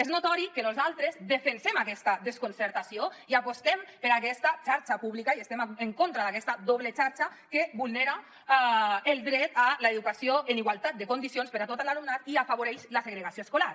és notori que nosaltres defensem aquesta desconcertació i apostem per aquesta xarxa pública i estem en contra d’aquesta doble xarxa que vulnera el dret a l’educació en igualtat de condicions per a tot l’alumnat i afavoreix la segregació escolar